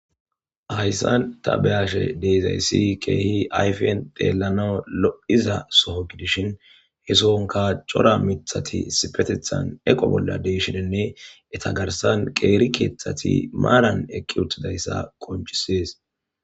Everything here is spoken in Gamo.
Hayssan ta beyashe dizayssi ayfen xellanaw lo'iza suqeshin he soohonkka cora miiththatti issipetetan eqonkka dishinne etta garssan miiththatti maaran eqides ayfen xellanaw keehi lo'izaso gidishin he sinkka cora miiththatti issipetetan eqo bolla dishinne etta garssan qeeri keththatti maaran eeqii uuttidayssa qonccises